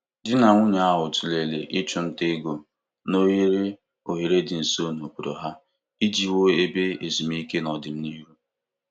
Di na nwunye ahụ tụlere ịchụ nta ego n'ohere oghere dị nso n'obodo ha iji wuo ebe ezumike n'ọdịnihu.